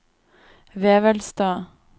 Vevelstad